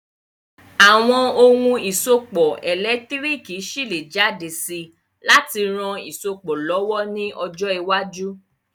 Àwon oun ìsopọ̀ ẹ̀lẹ́ntírikì ṣi lé jáde si láti ran isopọ̀ lọ̀wọ̀ ni ojọ́ iwájú